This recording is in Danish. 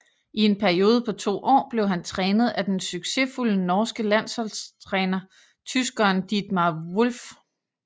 I en periode på 2 år blev han trænet af den succesfulde norske landsholdstræner tyskeren Dietmar Wolf